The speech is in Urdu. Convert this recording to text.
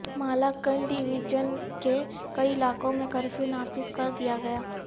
مالاکنڈ ڈویژن کے کئی علاقوں میں کرفیو نافذ کر دیا گیا ہے